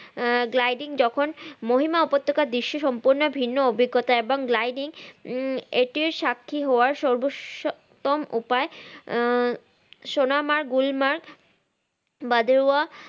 আহ gliding যখন মহিমা উপত্যকা বিশ্বে সম্পন্ন ভিন্ন অভিজ্ঞতা এবং gliding উম এটি সাক্ষী হওয়া সর্ব সতম উপায় আহ সোনামা গুল্মা বাদেরওয়া